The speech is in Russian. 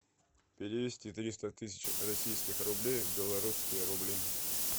перевести триста тысяч российских рублей в белорусские рубли